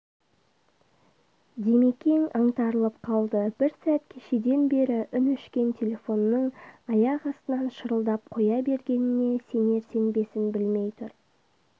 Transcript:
димекең аңтарылып қалды бір сәт кешеден бері үн өшкен телефонның аяқ астынан шырылдап қоя бергеніне сенер-сенбесін білмей тұр